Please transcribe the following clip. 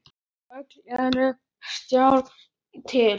Öllu er tjaldað til.